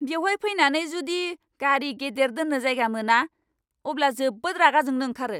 बेवहाय फैनानै जुदि गारि गेदेर दोन्नो जायगा मोना, अब्ला जोबोद रागा जोंनो ओंखारो।